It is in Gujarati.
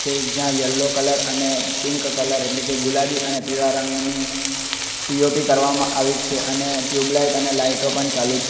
એ જ્યાં યલો કલર અને પિંક કલર એટલે કે ગુલાબી અને પીળા રંગની પી_ઓ_પી કરવામાં આવી છે અને ટ્યુબલાઈટ અને લાઇટો પણ ચાલુ છ --